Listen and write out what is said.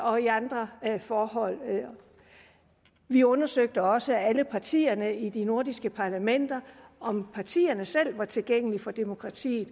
og i andre forhold vi undersøgte også alle partierne i de nordiske parlamenter om partierne selv var tilgængelige for demokratiet